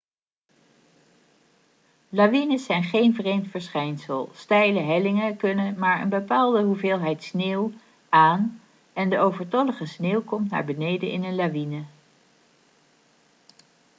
lawines zijn geen vreemd verschijnsel steile hellingen kunnen maar een bepaalde hoeveelheid sneeuw aan en de overtollige sneeuw komt naar beneden in een lawine